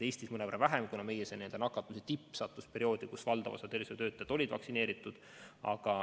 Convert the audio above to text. Eestis mõnevõrra vähem, kuna meie nakatumise tipp sattus perioodi, kus valdav osa tervishoiutöötajaid oli vaktsineeritud.